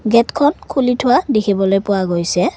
গেটখন খুলি থোৱা দেখিবলৈ পোৱা গৈছে।